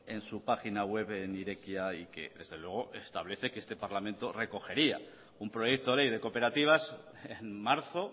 en su página web en irekia y que desde luego establece que este parlamento recogería un proyecto de ley de cooperativas en marzo